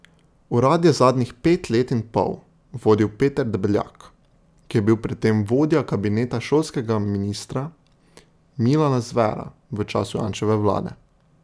Urad je zadnjih pet let in pol vodil Peter Debeljak, ki je bil predtem vodja kabineta šolskega ministra Milana Zvera v času Janševe vlade.